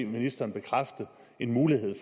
ministeren bekræfte en mulighed